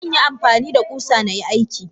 Zanyi amfanida kusa nayi aiki.